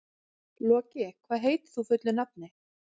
Loki, hvað heitir þú fullu nafni?